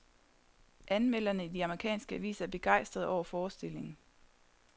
Anmelderne i de amerikanske aviser er begejstrede over forestillingen.